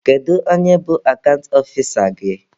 Kedu onye bụ akant ọfisa gị?